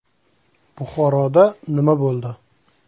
Buxoroda nima bo‘ldi?.